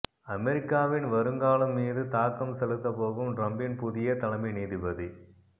அமெரிக்காவின் வருங்காலம் மீது தாக்கம் செலுத்தப்போகும் டிரம்பின் புதிய தலைமை நீதிபதி